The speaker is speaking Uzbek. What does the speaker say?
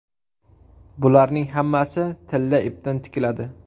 Bularning hammasi tilla ipdan tikiladi.